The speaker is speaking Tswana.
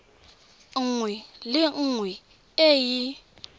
nngwe le nngwe e e